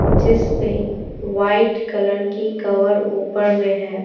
जिस पे white colour की कवर ऊपर में है।